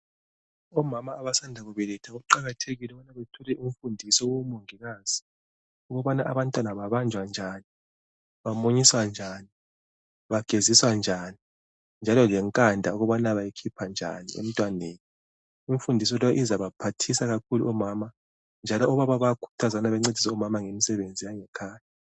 Omama abasanda kubeletha kuqakathekile ukuthi bethole imfundiso kubomongikazi ukubana abantwana babanjwa njani, bamunyiswa njani, bageziswa njani njalo lenkanda ukuba bayikhipha njani emntwaneni. Imfundiso leyo izabaphathisa kakhulu omama. Njalo obaba bayakhuthazwa ukuba bencedise omama ngekhaya.